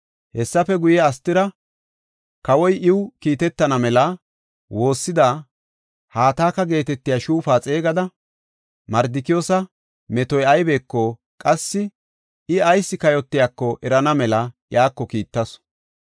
Hessafe guye Astira, kawoy iw kiitetana mela wothida Hataka geetetiya shuufa xeegada, Mardikiyoosa metoy aybeko qassi I ayis kayotiyako erana mela iyako kiittasu.